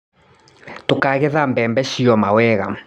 Tũkagetha bembe cioma wega.